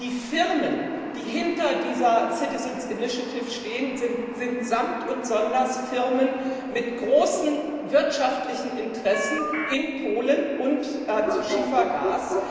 Die Firmen, die hinter dieser Citizens' Initiative stehen, sind samt und sonders Firmen mit großen wirtschaftlichen Interessen in Polen und im Bereich Schiefergas.